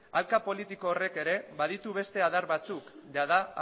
hanka politiko horrek ere baditu beste adar batzuk jada